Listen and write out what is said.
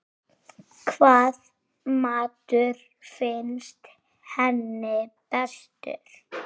Hvaða matur finnst henni bestur?